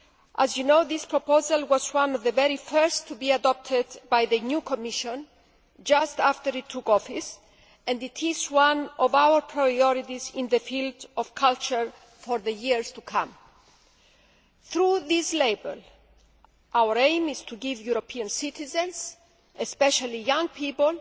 As you know, this proposal was one of the very first to be adopted by the new Commission just after it took office, and it is one of our priorities in the field of culture for the years to come. Through this label, our aim is to give European citizens, especially young people,